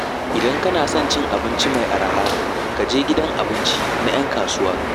Idan kana son cin abinci mai araha, ka je gidan abinci na 'yan kasuwa.